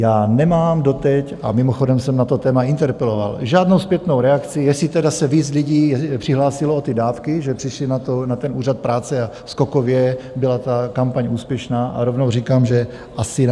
Já nemám doteď - a mimochodem jsem na to téma interpeloval - žádnou zpětnou reakci, jestli tedy se víc lidí přihlásilo o ty dávky, že přišli na ten úřad práce a skokově byla ta kampaň úspěšná, a rovnou říkám, že asi ne.